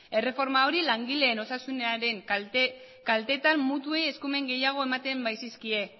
erreforma hori langileen osasunaren kaltetan mutuei eskumen gehiago ematen baitzizkien